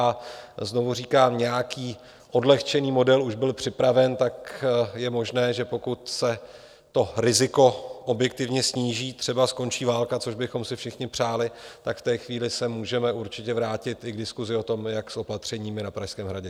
A znovu říkám, nějaký odlehčený model už byl připraven, tak je možné, že pokud se to riziko objektivně sníží, třeba skončí válka, což bychom si všichni přáli, tak v té chvíli se můžeme určitě vrátit i k diskusi o tom, jak s opatřeními na Pražském hradě.